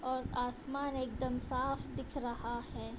और आसमान एकदम साफ दिख रहा है |